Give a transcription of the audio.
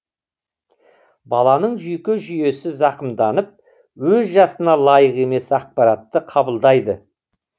баланың жүйке жүйесі зақымданып өз жасына лайық емес ақпаратты қабылдайды